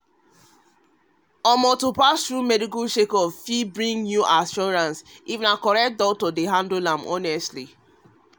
to pass through medical checkup fit bring new assurance if na correct doctor dey handle am honestly